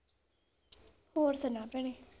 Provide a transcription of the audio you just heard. ਹੋਰ ਸਨਾ ਭੈਣੇ?